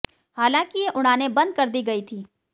हालांकि ये उड़ानें बंद कर दी गई थीं